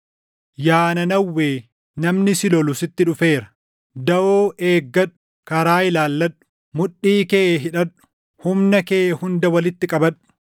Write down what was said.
Yaa Nanawwee, namni si lolu sitti dhufeera. Daʼoo eeggadhu; karaa ilaalladhu. Mudhii kee hidhadhu; humna kee hunda walitti qabadhu!